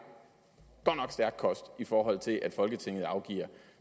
stærk kost i forhold til at folketinget afgiver